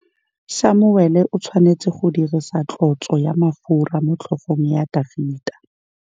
Samuele o tshwanetse go dirisa tlotsô ya mafura motlhôgong ya Dafita.